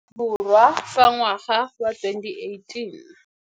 Aforika Borwa fa ngwaga wa 2018.